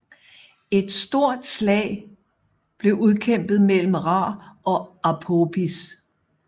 Et stort slag blev udkæmpet mellem Ra og Apophis